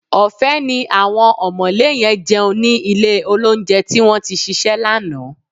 Ọ̀fẹ́ ni àwọn ọ̀mọ̀lé yẹn jẹun ní ilé-olóunjẹ tí wọ́n tí ṣíṣe lánàá